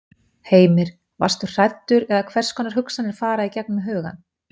Heimir: Varstu hræddur eða hvers konar hugsanir fara í gegnum hugann?